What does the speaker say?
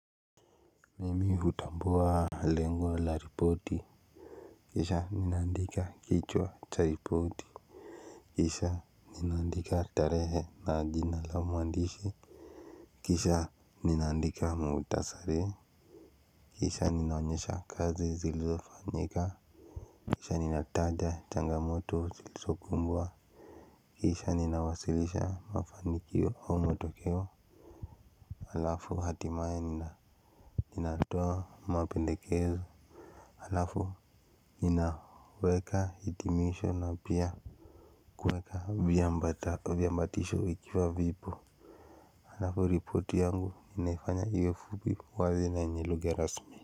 Mimi hutambua lengo laripoti, kisha ninandika kichwa charipoti. Kisha, ninandika tarehe naa jina lao mwandishi, kisha nina andika muutasari. Kisha nina onyesha kazi zilzofanyika isha ninataja, changamoto zilzo kumbwa. Kisha ninawasilisha mafanikio au, matokeo. Alafu hatimaye nina nina toa mapendekezo. Alafu, ninaweka hitimisho na pia kuweka viambatisho vikiwa vipo. Hanafu ripoti yangu inaifanya iwe fupi, wazi na enye lugha rasmi.